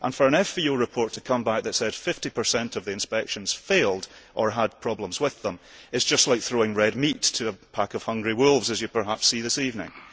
For an FVO report to come back that said 50 of the inspections failed or had problems with them is just like throwing red meat to a pack of hungry wolves, as you perhaps see this evening.